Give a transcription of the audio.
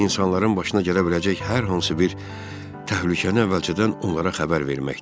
İnsanların başına gələ biləcək hər hansı bir təhlükəni əvvəlcədən onlara xəbər verməkdir.